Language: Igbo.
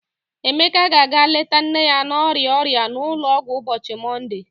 Emeka ga-aga leta nne ya na-arịa ọrịa n'ụlọọgwụ ụbọchị Mọnde.